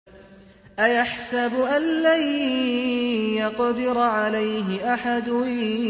أَيَحْسَبُ أَن لَّن يَقْدِرَ عَلَيْهِ أَحَدٌ